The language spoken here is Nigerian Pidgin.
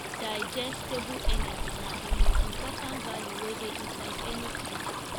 digestible energy na the most important value wey dey inside any feed